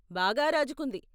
బాగా రాజుకుంది.